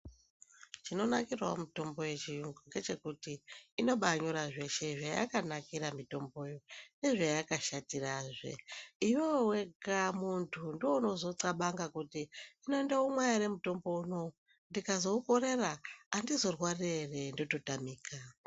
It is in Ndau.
Chinonakirawo mutombo yechiyungu ngechekuti inobanyora zveshe zvayakanakira mitomboyo nezvayakashatirazve iwewe wega muntu ndiwe unozothabanga kuti hino ndoumwa ere mutombo unowu ndikazoukorera andizorwari ere ndototamika.